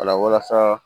O la walasa